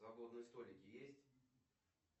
свободные столики есть